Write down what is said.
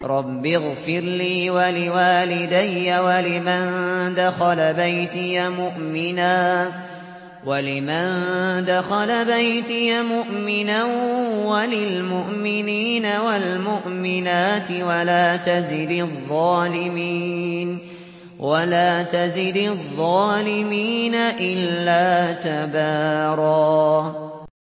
رَّبِّ اغْفِرْ لِي وَلِوَالِدَيَّ وَلِمَن دَخَلَ بَيْتِيَ مُؤْمِنًا وَلِلْمُؤْمِنِينَ وَالْمُؤْمِنَاتِ وَلَا تَزِدِ الظَّالِمِينَ إِلَّا تَبَارًا